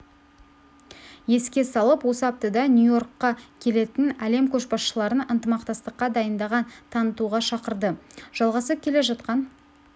еске салып осы аптада нью-йоркқа келетін әлем көшбасшыларын ынтымақтастыққа дайындығын танытуға шақырды жалғасып келе жатқан